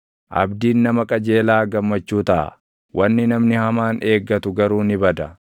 Waaqayyoon sodaachuun bara jireenya namaa dheeressa; umuriin nama hamaa garuu ni gabaabbata.